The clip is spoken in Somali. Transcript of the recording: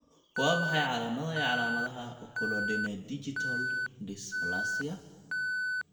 Waa maxay calaamadaha iyo calaamadaha Oculodendigital dysplasia?